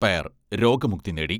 പേർ രോഗമുക്തി നേടി.